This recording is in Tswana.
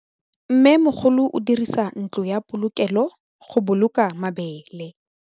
Mmêmogolô o dirisa ntlo ya polokêlô, go boloka mabele.